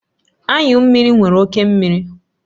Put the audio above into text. Anyụ mmiri nwere oke mmiri